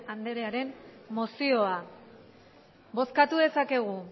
andrearen mozioa bozkatu dezakegu